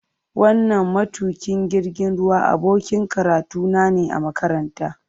Wannan matukin jirgin ruwa abokin karatuna ne a makaranta.